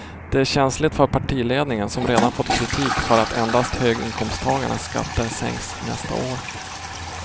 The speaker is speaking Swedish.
Det är känsligt för partiledningen som redan fått kritik för att endast höginkomsttagarnas skatter sänks nästa år.